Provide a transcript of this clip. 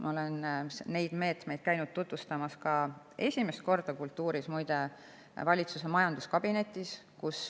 Ma olen neid meetmeid käinud tutvustamas ka – esimest korda, muide – valitsuse majanduskabinetis.